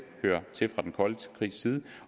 hører til den kolde krigs tid